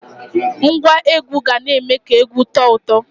Ngwa egwu ga na-eme ka egwu tọọ ụtọ.